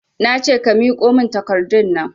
Nace ka miƙo min takardunnan